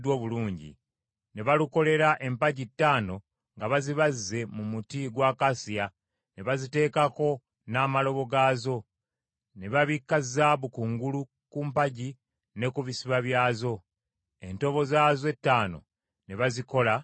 Ne balukolera empagi ttaano nga bazibazze mu muti gwa akasiya, ne baziteekako n’amalobo gaazo. Ne babikka zaabu kungulu ku mpagi ne ku bisiba byazo. Entobo zaazo ettaano ne bazikola mu kikomo.